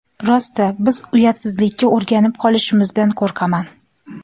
Rosti, biz uyatsizlikka o‘rganib qolishimizdan qo‘rqaman.